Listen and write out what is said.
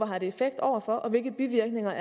har effekt over for og hvilke bivirkninger